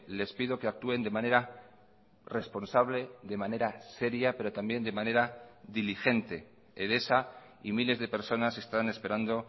les pido que actúen de manera responsable de manera seria pero también de manera diligente edesa y miles de personas están esperando